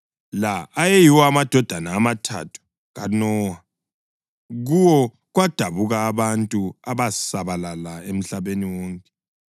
La ayeyiwo amadodana amathathu kaNowa, kuwo kwadabuka abantu abasabalala emhlabeni wonke.